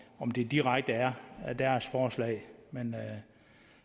om det direkte er deres forslag men